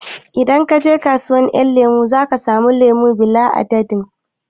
Idan ka je kasuwar ƴan lemo zaka samu lemo bila adadin